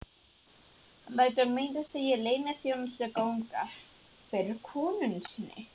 Hann lætur meira að segja leyniþjónustuna ganga fyrir konu sinni.